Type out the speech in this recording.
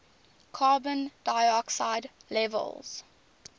carbon dioxide levels